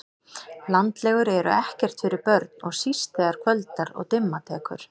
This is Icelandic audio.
Landlegur eru ekkert fyrir börn og síst þegar kvöldar og dimma tekur